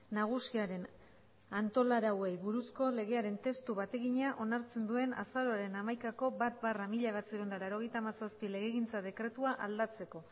nagusiaren antolarauei buruzko legearen testu bategina onartzen duen azaroaren hamaikako bat barra mila bederatziehun eta laurogeita hamazazpi legegintza dekretua aldatzeko